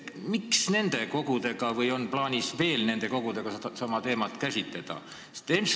Miks nende kogudega ei ole seda arutatud või on plaanis nendega sedasama teemat veel käsitleda?